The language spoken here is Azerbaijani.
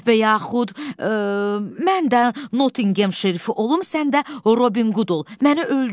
Və yaxud mən də Nottingem şerifi olum, sən də Robin Qud ol, məni öldür.